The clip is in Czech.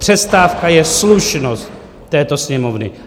Přestávka je slušnost této Sněmovny.